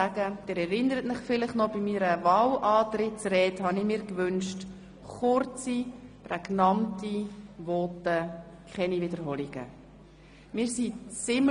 Sie erinnern sich vielleicht noch, dass ich mir bei meiner Wahlantrittsrede kurze, prägnante Voten und keine Wiederholungen gewünscht habe.